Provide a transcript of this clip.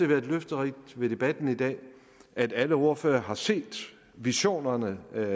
været løfterigt ved debatten i dag at alle ordførere har set visionerne og